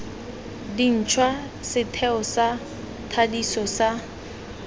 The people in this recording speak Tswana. dintšhwa setheo sa thadiso sa